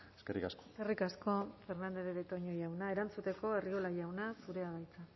eskerrik asko eskerrik asko fernandez de betoño jauna erantzuteko arriola jauna zurea da hitza